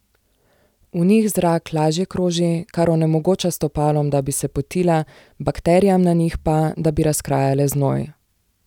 V njih zrak lažje kroži, kar onemogoča stopalom, da bi se potila, bakterijam na njih pa, da bi razkrajale znoj.